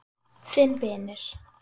Þinn vinur.